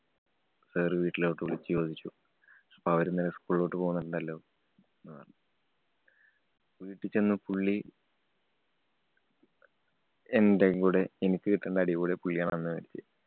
sir വീട്ടിലോട്ടു വിളിച്ചു ചോദിച്ചു. അപ്പൊ അവരിന്നലെ school ലോട്ട് പോന്നിട്ടുണ്ടല്ലോ ന്ന് പറഞ്ഞു. വീട്ടി ചെന്ന് പുള്ളി എന്‍റെ കൂടെ എനിക്ക് കിട്ടണ്ട അടി കൂടി പുള്ളിയാണ് അന്ന് വേടിച്ചേ.